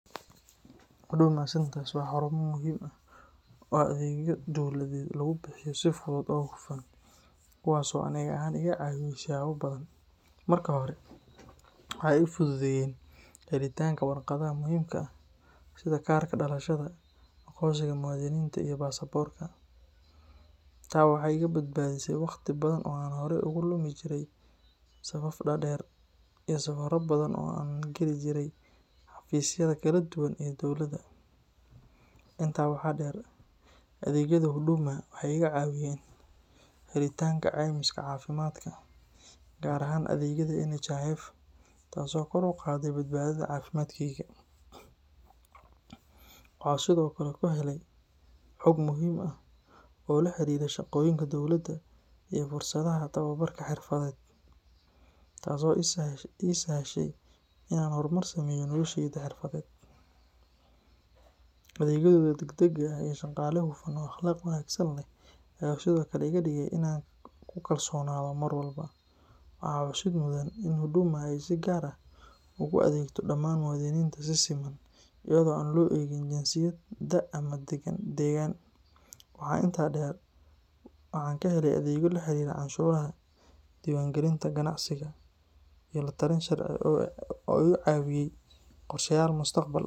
Huduma Centres waa xarumo muhiim ah oo adeegyo dawladeed lagu bixiyo si fudud oo hufan, kuwaas oo aniga ahaan iga caawiyay siyaabo badan. Marka hore, waxay ii fududeeyeen helitaanka warqadaha muhiimka ah sida kaarka dhalashada, aqoonsiga muwaadiniinta iyo baasaboorka. Taa waxay iga badbaadisay waqti badan oo aan horay ugu lumi jiray safaf dhaadheer iyo safarro badan oo aan u geli jiray xafiisyada kala duwan ee dowladda. Intaa waxaa dheer, adeegyada Huduma waxay iga caawiyeen helitaanka caymiska caafimaadka, gaar ahaan adeegyada NHIF, taasoo kor u qaaday badbaadada caafimaadkayga. Waxaan sidoo kale ku helay xog muhiim ah oo la xiriirta shaqooyinka dowladda iyo fursadaha tababarka xirfadeed, taasoo ii sahashay inaan horumar sameeyo noloshayda xirfadeed. Adeegyadooda degdega ah iyo shaqaale hufan oo akhlaaq wanaagsan leh ayaa sidoo kale iga dhigay inaan ku kalsoonaado mar walba. Waxaa xusid mudan in Huduma ay si gaar ah ugu adeegto dhammaan muwaadiniinta si siman, iyadoo aan loo eegin jinsiyad, da’, ama deegaan. Waxaa intaa dheer, waxaan ka helay adeegyo la xiriira canshuuraha, diiwaangelinta ganacsiga iyo la-talin sharci oo iga caawiyay horumarinta qorshayaal mustaqbalka ah.